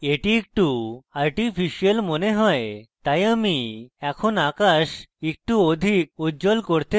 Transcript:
এটি একটু artificial মনে হয় তাই আমি এখন আকাশ একটু অধিক উজ্জ্বল করতে চাই